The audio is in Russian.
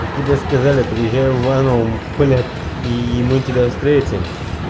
а тебе сказали приезжай в иваново блять и мы тебя встретим